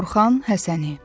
Orxan Həsəni.